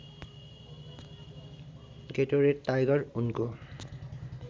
Gatorade tiger उनको